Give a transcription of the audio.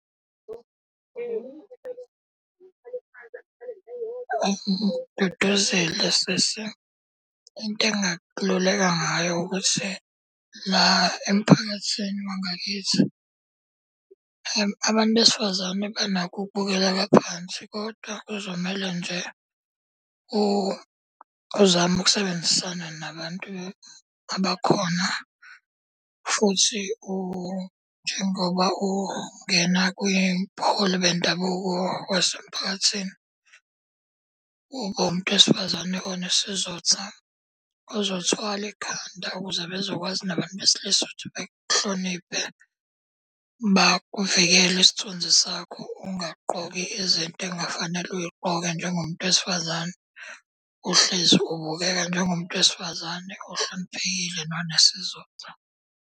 Duduzile sisi, into engingakululeka ngayo ukuthi la emphakathini wangakithi, abantu besifazane banakho ukubukeleka phansi kodwa kuzomele nje uzame ukusebenzisana nabantu abakhona. Futhi njengoba ungena kwibuholi bendabuko wasemphakathini, ube umuntu wesifazane onesizotha, ozothwala ekhanda ukuze bezokwazi nabantu besilisa ukuthi bekuhloniphe, bakuvikele isithunzi sakho. Ungagqoki izinto ekungafanele uy'gqoke njengomuntu wesifazane. Uhlezi ubukeka njengomuntu wesifazane ohloniphekile nonesizotha.